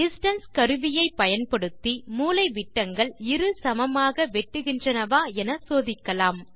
distance கருவியை பயன்படுத்தி மூலைவிட்டங்கள் இரு சமமாக வெட்டுகின்றனவா என சோதிக்கலாம்